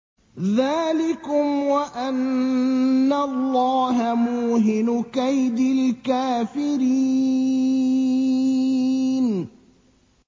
ذَٰلِكُمْ وَأَنَّ اللَّهَ مُوهِنُ كَيْدِ الْكَافِرِينَ